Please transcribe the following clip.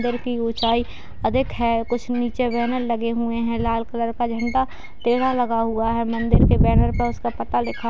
घर की ऊंचाई अधिक है कुछ नीचे बैनर लगे हुए हैं लाल कलर का झंडा टेड़ा लगा हुआ है मंदिर के बैनर पर उसका पता लिखा --